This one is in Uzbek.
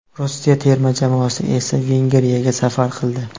Rossiya terma jamoasi esa Vengriyaga safar qildi.